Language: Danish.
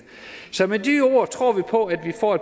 så med de ord tror vi på at vi får